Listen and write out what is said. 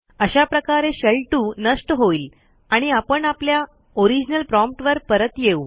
अशा प्रकारे शेल2 नष्ट होईल आणि आपण आपल्या ओरिजनल promptवर परत येऊ